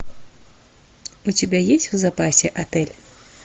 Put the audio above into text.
у тебя есть в запасе отель